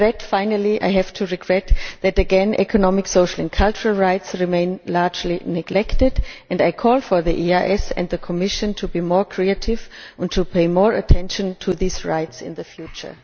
Finally, I regret that again economic, social and cultural rights remain largely neglected and I call for the EEAS and the Commission to be more creative and to pay more attention to these rights in the future.